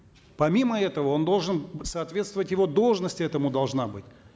помимо этого он должен соответствовать его должности этому должна быть